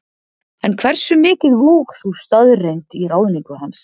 En hversu mikið vóg sú staðreyndi í ráðningu hans?